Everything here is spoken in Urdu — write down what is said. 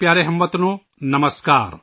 میرے پیارے ہم وطنوں ، نمسکار